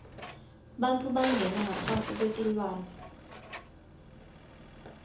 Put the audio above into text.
bantfu bangena ngaphasi kwetilwane